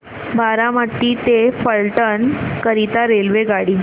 बारामती ते फलटण करीता रेल्वेगाडी